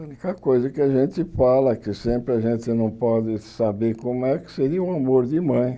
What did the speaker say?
A única coisa que a gente fala, que sempre a gente não pode saber como é, que seria o amor de mãe.